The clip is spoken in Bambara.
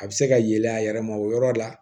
A bɛ se ka yelen a yɛrɛ ma o yɔrɔ la